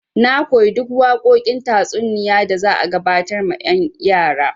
Na koyi duk waƙoƙin tatsuniya da za a gabatar ma yan' yaran.